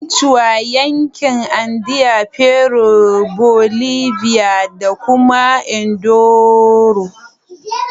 Quechua yankin Andean Peru, Bolivia, da kuma Ecuador